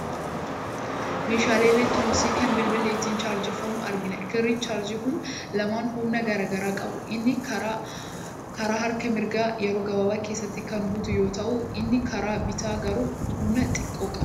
Meeshaalee elektirooniksii kan bilbilli ittiin chaarjeffamu argina. Kirriin chaarjerii kun lamaan humna garaa garaa qabu. Inni karaa harka mirgaa yeroo gabaabaa keessatti kan guutu yoo ta'u, inni karaa bitaa garuu humna xiqqoo qaba.